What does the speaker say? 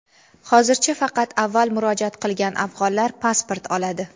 Hozircha faqat avval murojaat qilgan afg‘onlar pasport oladi.